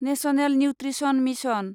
national nutrition mission